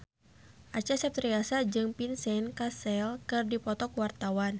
Acha Septriasa jeung Vincent Cassel keur dipoto ku wartawan